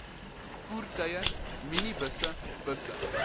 voertuie minibusse busse